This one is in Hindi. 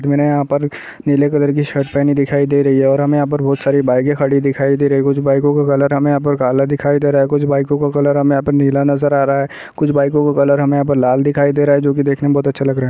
यहां पर नीले कलर की शर्ट पहनी दिखाई दे रही है और हमे यहां पर बहुत सारी बाइके खड़ी दिखाई दे रही है कुछ बाइको का कलर हमें यहां पर काला दिखाई दे रहा है कुछ बाइकों का कलर हमें यहां पर नीला नजर आ रहा है कुछ बाइको का कलर हमें यहां पर लाल दिखाई दे रहा है जो की देखने में बहुत अच्छा लग रहा है।